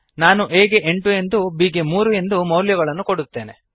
ನಾನು a ಗೆ ಎಂಟು ಎಂದೂ b ಗೆ ಮೂರು ಎಂದೂ ಮೌಲ್ಯಗಳನ್ನು ಕೊಡುತ್ತೇನೆ